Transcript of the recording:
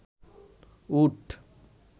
উট